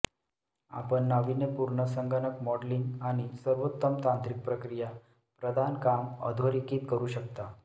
आपण नाविन्यपूर्ण संगणक मॉडेलिंग आणि सर्वोत्तम तांत्रिक प्रक्रिया प्रदान काम अधोरेखित करू शकता